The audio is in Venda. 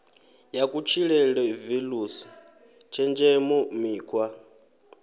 ya kutshilele values tshenzhemo mikhwa